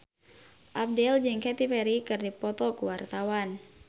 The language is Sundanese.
Abdel jeung Katy Perry keur dipoto ku wartawan